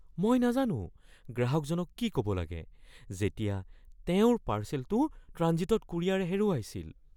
মই নাজানো গ্ৰাহকজনক কি ক'ব লাগে যেতিয়া তেওঁৰ পাৰ্চেলটো ট্ৰাঞ্জিটত কুৰিয়াৰে হেৰুৱাইছিল।